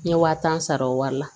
N ye wa tan sara o wari la